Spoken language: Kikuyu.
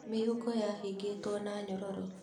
Mĩhũko yahingĩtwo na nyororo.